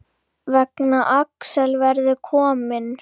Nema Axel verði kominn.